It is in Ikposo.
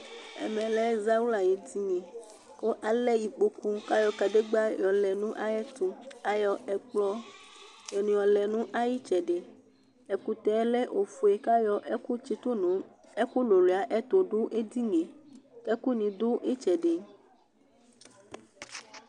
Ɛmɛ azawla aƴéɖɩnɩ, ƙʊ alɛ ɩƙpokʊ kalɛ ɩkpoku ƙayɔ ƙaɖégɓa yɔlɛ naƴɛtʊ, aƴɔ ɛƙplɔ ni ƴɔlɛ nayɩtsɛɖɩ Ɛƙʊtɛ ɔlɛ ofoé kaƴɔ ɛku tsɩtʊnɩ ɛƙʊ lʊluɩa ɛtʊɖʊ éɖɩŋɩé Ɛƙʊ ŋɩ ɖʊ ɩtsɛɖɩ